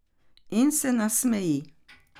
In se nasmeji.